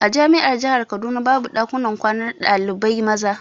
A jami'ar jahar kaduna babu ɗakin kwanar ɗalibai maza.